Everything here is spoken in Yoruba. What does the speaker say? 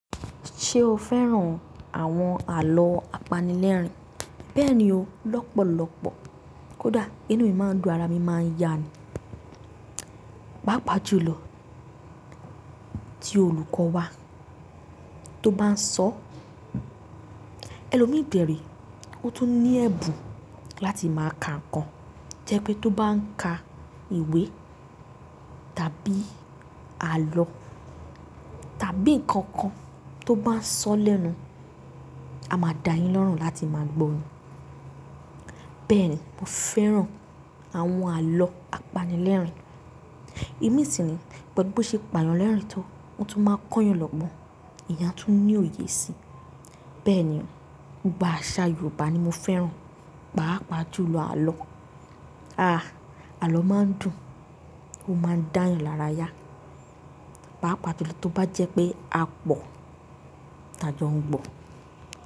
Ṣé o fẹ́ràn àwọn àlọ́ apanilẹ́rìn? Bẹ́ẹ̀ni o, lọ́pọ̀lọ́pọ̀. Kódà inú mi máa ń dùn, ara mi máa ń yá ni. Páápàá jù lọ tí olùkọ́ wa tó bá ń sọ, ẹlòmíì kẹ̀re, ó tún ní ẹ̀bùn láti máa ka nǹkan jẹ́ pé tó bá ń ka ìwé tàbí àlọ́ tàbí nǹkan kan tó bá ń sọ lẹ́nu, a máa dá yín lọ́rùn láti máa gbọ ni. Bẹ́ẹ̀ni, mo fẹ́ràn àwọn àlọ́ apanilẹ́rìn. Ìdí mi sì ni gbogbo ṣé ìpànìyàn lẹ́rìn tó, wọn tún máa ń kọ́ yàn lọ́gbọ́n, ìyà tún ní òye síi. Bẹ́ẹ̀ni o, nípa àṣà Yorùbá ni mo fẹ́ràn, pàápàá jù lọ àlọ́. Aàà, àlọ́ máa ń dùn, ó máa ń dá yàn lára yá. Páápàá jù lọ tó bá jẹ́ pé a pọ̀ ti a jọ ń gbọ́.